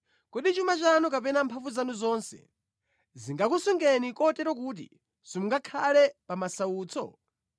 Kodi chuma chanu kapena mphamvu zanu zonse zingakusungeni kotero kuti simungakhale pa masautso?